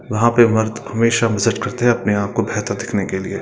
वहां पे मर्द हमेशा मसाज करते है अपने आपको बेहतर दिखने के लिये --